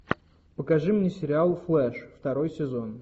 покажи мне сериал флэш второй сезон